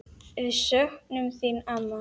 Við söknum þín, amma.